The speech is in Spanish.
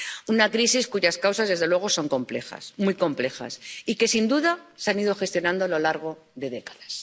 Una crisis cuyas causas, desde luego, son complejas —muy complejas— y que, sin duda, se han ido gestionando a lo largo de décadas.